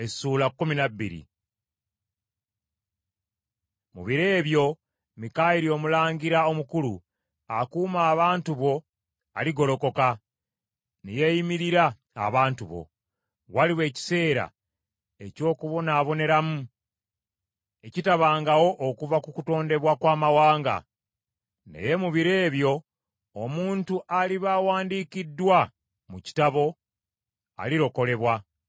“Mu biro ebyo Mikayiri omulangira omukulu akuuma abantu bo aligolokoka, ne yeeyimirira abantu bo. Waliba ekiseera eky’okubonaaboneramu ekitabangawo okuva ku kutondebwa kw’amawanga. Naye mu biro ebyo, omuntu aliba awandiikiddwa mu kitabo, alirokolebwa.